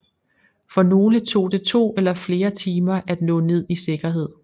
For nogle tog det to eller flere timer at nå ned i sikkerhed